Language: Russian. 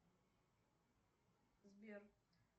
сбер